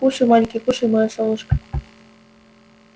кушай маленький кушай моё солнышко